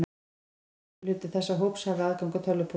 Ætla má að meirihluti þessa hóps hafi aðgang að tölvupósti.